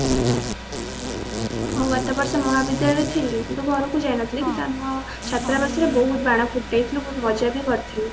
ମୁଁ ଗତବର୍ଷ ମହାବିଦ୍ୟାଳୟରେ ଥିଲି ମୁଁ ତ ଘରକୁ ଯାଇନଥିଲି କିନ୍ତୁ ଆମ ଛତ୍ରାବାସ ରେ ବହୁତ ବାଣ ଫୁଟେଇଥିଲୁ ବହୁତ ମଜା ବି କରିଥିଲୁ